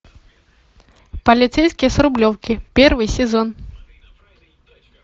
полицейский с рублевки первый сезон